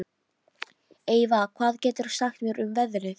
Eyva, hvað geturðu sagt mér um veðrið?